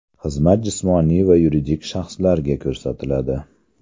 Xizmat jismoniy va yuridik shaxslarga ko‘rsatiladi.